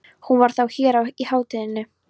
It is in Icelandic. Hún var þá hér á hátíðinni!